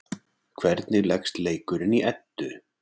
Hvernig leggst leikurinn í Eddu?